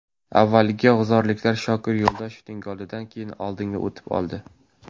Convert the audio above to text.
Avvaliga g‘uzorliklar Shokir Yo‘ldoshevning golidan keyin oldinga o‘tib oldi.